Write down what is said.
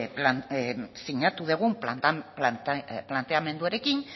sinatu dugun planteamenduarekin